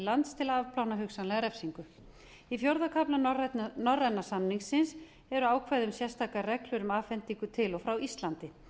lands til að afplána hugsanlega refsingu í fjórða kafla norræna samningsins eru ákvæði um sérstakar reglur um afhendingu til og frá íslandi